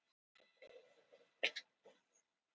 En það eru fleiri félög sem hafa sýnt Eiði áhuga.